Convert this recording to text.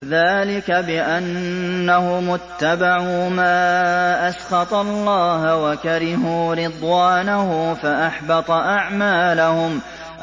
ذَٰلِكَ بِأَنَّهُمُ اتَّبَعُوا مَا أَسْخَطَ اللَّهَ وَكَرِهُوا رِضْوَانَهُ فَأَحْبَطَ أَعْمَالَهُمْ